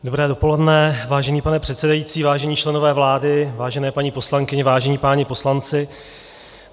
Dobré dopoledne, vážený pane předsedající, vážení členové vlády, vážené paní poslankyně, vážení páni poslanci.